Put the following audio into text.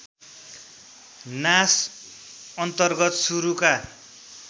नाच अन्तर्गत सुरुका